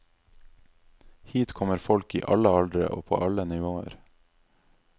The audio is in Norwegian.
Hit kommer folk i alle aldre og på alle nivåer.